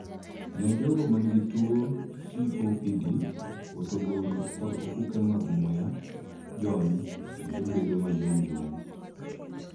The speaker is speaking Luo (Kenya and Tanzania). Ne jogo man gi tuo COPD, hotogoro kod ofuke mag muya jony kendo bedo ma yom yom.